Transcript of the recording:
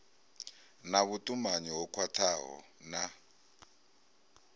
na vhutumanyi ho khwathaho na